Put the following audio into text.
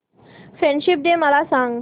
friendship day मला सांग